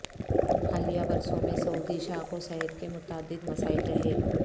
حالیہ برسوں میں سعودی شاہ کو صحت کے متعدد مسائل رہے